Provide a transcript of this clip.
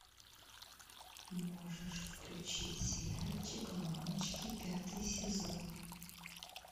можешь включить сериальчик мамочки пятый сезон